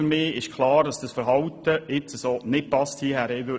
Für mich ist klar, dass dieses Verhalten der BKW nicht passend ist.